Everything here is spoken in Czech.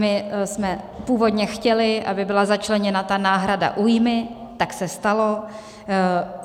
My jsme původně chtěli, aby byla začleněna ta náhrada újmy, tak se stalo.